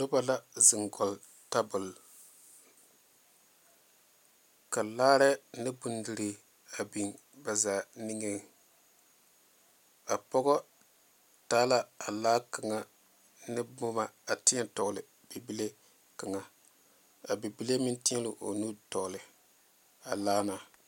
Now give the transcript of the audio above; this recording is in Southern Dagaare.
Noba la zeŋ kɔge tabol ka larɛɛ ne bondirii a biŋ ba zaa niŋeŋ a pɔge taa la a laa kaŋa ne boma a teɛ tɔgle bibile kaŋa a bibile meŋ teɛ la o nu tɔgle a laa na.